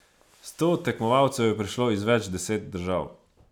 Sto tekmovalcev je prišlo iz več deset držav.